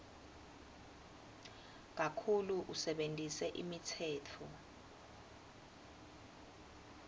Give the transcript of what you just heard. kakhulu usebentise imitsetfo